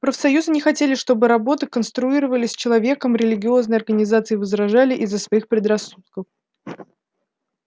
профсоюзы не хотели чтобы работы конструировали с человеком религиозные организации возражали из-за своих предрассудков